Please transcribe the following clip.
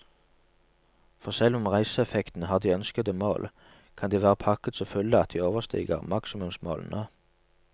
For selv om reiseeffektene har de ønskede mål, kan de være pakket så fulle at de overstiger maksimumsmålene.